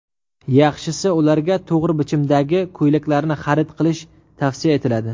Yaxshisi, ularga to‘g‘ri bichimdagi ko‘ylaklarni xarid qilish tavsiya etiladi.